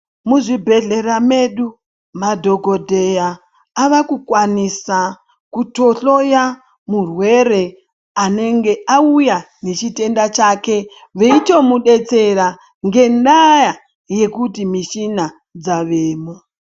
Muzvibhedhlera medu ,madhokodheya avakukwanisa kutohloya murwere anenge auya nechitenda chake, veitomudetsera ,ngendaa yekuti michina dzavemo.